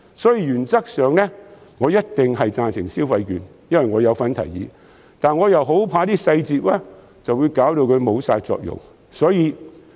因此，原則上我一定贊成派發消費券，因為我有份提議，但我很怕細節會令其失去作用。